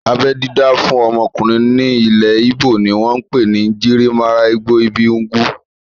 Abẹ́ dídá fún ọmọkùnrin ní ilẹ̀ íbò ni wọ́n pè ní "Njirimaralgbo ibi ugwu"